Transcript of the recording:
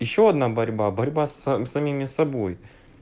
ещё одна борьба борьба с самими собой